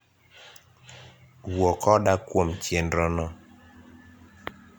wuo koda kwom chenro no